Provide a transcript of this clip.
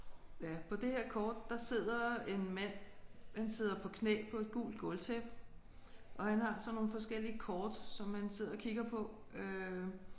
Ja på det her kort der sidder en mand. Han sidder på knæ på et gult gulvtæppe og han har sådan nogle forskellige kort som han sidder og kigger på øh